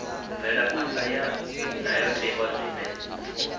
mvelaphan ḓa ya ndayotewa zwine